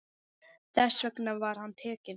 Þess vegna var hann tekinn.